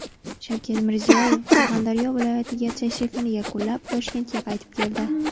Shavkat Mirziyoyev Surxondaryo viloyatiga tashrifini yakunlab, Toshkentga qaytib keldi.